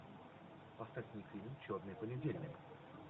поставь мне фильм черный понедельник